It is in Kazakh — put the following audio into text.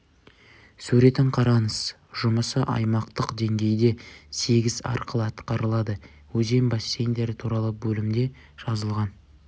суретін қараңыз жұмысы аймақтық деңгейде сегіз арқылы атқарылады өзен бассейндері туралы бөлімде жазылған